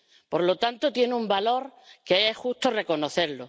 Por lo tanto, tiene un valor que es justo reconocer.